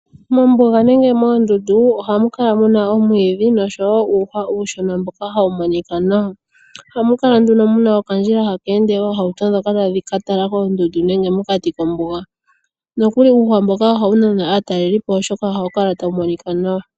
Mombuga nenge moondundu ohamu kala muna omwiidhi noshowo uuhwa uushona mboka hawu monika nawa. Ohamu kala nduno muna okandjila hake ende oohauto ndhoka tadhi ka tala koondundu nenge mokati kombuga, nokuli uuhwa mboka ohawu nana aatalelipo oshoka ohawu kala tawu monika nawa.